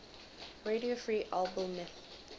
radio free albemuth